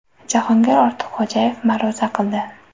Jahongir Ortiqxo‘jayev ma’ruza qildi.